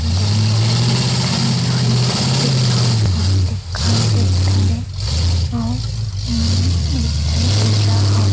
दे मेरन एक ठन नाई के दुकान ह दिखाई देत हवे अउ अम्म एक ठन टुरा ह --